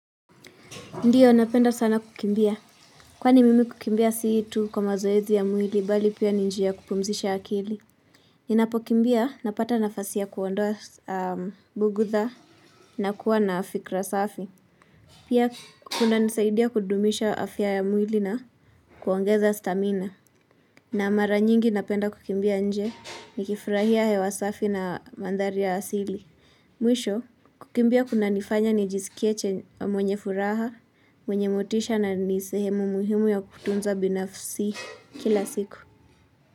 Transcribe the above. Ndiyo, napenda sana kukimbia. Kwani mimi kukimbia si tu kwa mazoezi ya mwili, bali pia ni njia kupumzisha akili. Ninapo kimbia, napata nafasi ya kuondoa bugudha na kuwa na fikira safi. Pia, kuna nisaidia kudumisha afya ya mwili na kuongeza stamina. Na mara nyingi napenda kukimbia nje, nikifurahia hewasafi na mandhari ya asili. Mwisho, kukimbia kuna nifanya nijisikieche mwenye furaha, mwenye motisha na nisehemu muhimu ya kutunza binafsi kila siku.